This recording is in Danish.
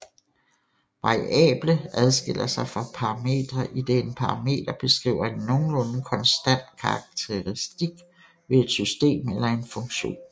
Variable adskiller sig fra parametre idet en parameter beskriver en nogenlunde konstant karakteristik ved et system eller en funktion